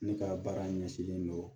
Ne ka baara ɲɛsinnen don